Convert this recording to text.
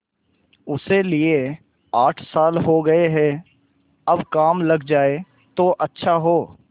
उसे लिये आठ साल हो गये अब काम लग जाए तो अच्छा हो